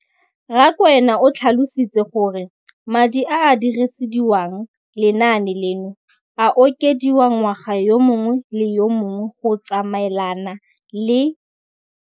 Rakwena o tlhalositse gore madi a a dirisediwang lenaane leno a okediwa ngwaga yo mongwe le yo mongwe go tsamaelana le